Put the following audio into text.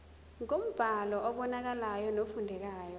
ngombhalo obonakalayo nofundekayo